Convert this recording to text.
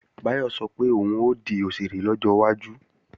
Báyọ̀ sọ pé òun ó di òṣèré lọ́jọ́ iwájú